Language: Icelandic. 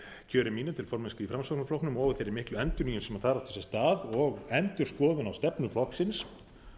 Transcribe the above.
kjöri mínu til formennsku í framsóknarflokknum og þeirri miklu endurnýjun sem þar átti sér stað og endurskoðun á stefnu flokksins